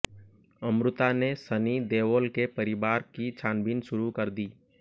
अमृता ने सनी देओल के परिवार की छानबीन शुरू कर दी